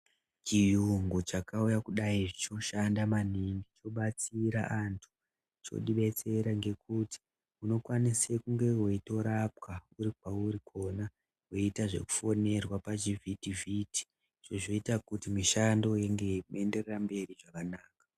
Chiyungu chakauya kudai choshanda maningi, chobatsira anhu. Chotibetsera ngekuti, unokwanise kunge weitorepwa uri kwauri kwona, weiita zvekufonerwa, pazvivhitivhiti, zvozoita kuti mishando inge yeienderera mberi zvakanaka.